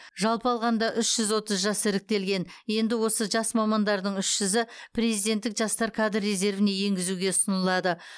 жалпы алғанда үш жүз отыз жас іріктелген енді осы жас мамандардың үш жүзі президенттік жастар кадр резервіне енгізуге ұсынылады